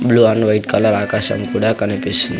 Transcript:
blue and white colour ఆకాశం కూడా కనిపిస్తుం --